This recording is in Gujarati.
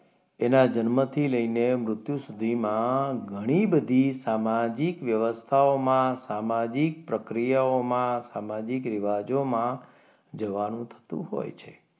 એના જન્મથી લઈને મૃત્યુ સુધીમાં ઘણી બધી સામાજિક વ્યવસ્થાઓમાં સામાજિક પ્રક્રિયાઓમાં સામાજિક રિવાજોમાં જવાનું થતું હોય છે.